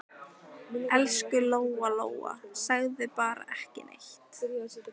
Elsku Lóa-Lóa, segðu bara ekki neitt.